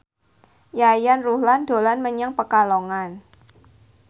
Yayan Ruhlan dolan menyang Pekalongan